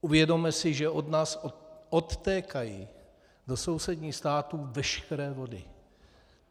Uvědomme si, že od nás odtékají do sousedních států veškeré vody.